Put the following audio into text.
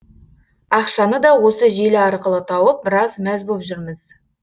ақшаны да осы желі арқылы тауып біраз мәз боп жүрміз